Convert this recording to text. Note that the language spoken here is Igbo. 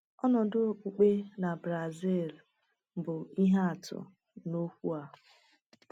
Ọnọdụ okpukpe na Brazil bụ ihe atụ n’okwu a.